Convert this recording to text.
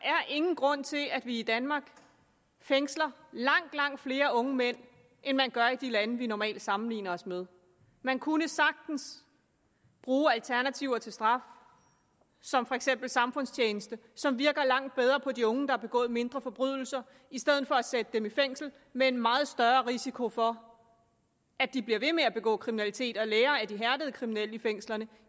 ingen grund til at vi i danmark fængsler langt langt flere unge mænd end man gør i de lande vi normalt sammenligner os med man kunne sagtens bruge alternativer til straf som for eksempel samfundstjeneste som virker langt bedre på de unge der har begået mindre forbrydelser i stedet for at sætte dem i fængsel med en meget større risiko for at de bliver ved med at begå kriminalitet og lærer af de hærdede kriminelle i fængslerne